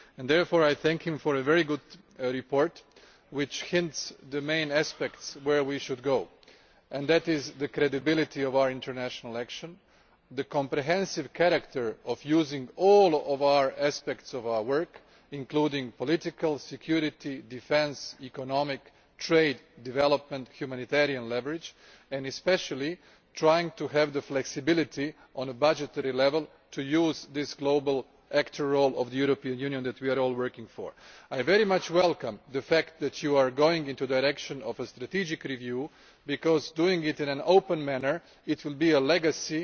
Therefore, I thank him for a very good report which suggests the main aspects we should work towards namely the credibility of our international action, the comprehensive character of using all aspects of our work, including political, security, defence, economic, trade, development, humanitarian leverage, and especially trying to have the flexibility on a budgetary level to use the global actor role for the European Union that we are all working for. I very much welcome the fact that you are going in the direction of a strategic review because doing this in an open manner will be your legacy